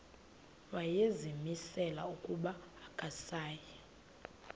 wayezimisele ukuba akasayi